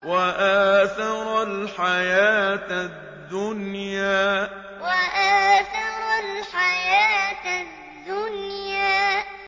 وَآثَرَ الْحَيَاةَ الدُّنْيَا وَآثَرَ الْحَيَاةَ الدُّنْيَا